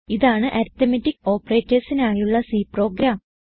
ഇതാണ് അരിത്മെറ്റിക് operatorsനായുള്ള C programme